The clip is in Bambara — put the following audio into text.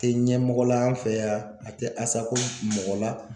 Tɛ ɲɛmɔgɔ la an fɛ yan a tɛ asako mɔgɔ la.